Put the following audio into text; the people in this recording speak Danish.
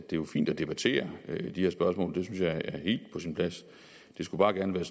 det er jo fint at debattere de her spørgsmål jeg er helt på sin plads det skulle bare gerne være